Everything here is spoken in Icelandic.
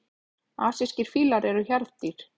Asískir fílar eru hjarðdýr.